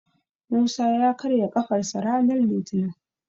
Musa ya karya ƙafarsa ranar litinin.